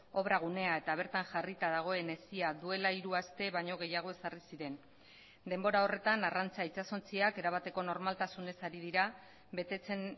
obra gunea eta bertan jarrita dagoen hesia duela hiru aste baino gehiago ezarri ziren denbora horretan arrantza itsasontziak erabateko normaltasunez ari dira betetzen